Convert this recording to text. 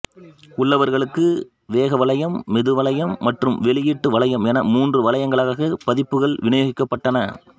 உள்ளளர்களுக்கு வேக வளையம் மெது வளையம் மற்றும் வெளியீட்டு வளையம் என மூன்று வளையங்களாக பதிப்புகள் விநியோகிக்கப்பட்டன